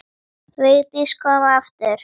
Vigdís kom aftur.